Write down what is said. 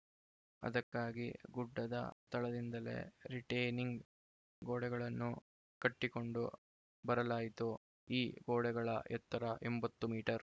ಅದಕ್ಕಾಗಿ ಗುಡ್ಡದ ತಳದಿಂದಲೇ ರಿಟೇನಿಂಗ್‌ ಗೋಡೆಗಳನ್ನು ಕಟ್ಟಿಕೊಂಡು ಬರಲಾಯಿತು ಈ ಗೋಡೆಗಳ ಎತ್ತರ ಎಂಬತ್ತು ಮೀಟರ್‌